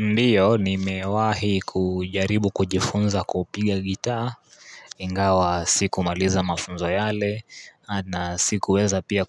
Ndio nimewahi kujaribu kujifunza kupiga gitaa. Ingawa sikumaliza mafunzo yale na sikuweza pia